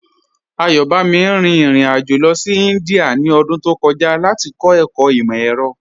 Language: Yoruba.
Ayọ̀bámi rín ìrìn-àjọ lọ sí Índíà ní ọdún tó kọ̀jà láti kọ̀ ẹkọ̀ imọ-ẹ̀rọ̀.